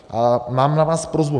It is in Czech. A mám na vás prosbu.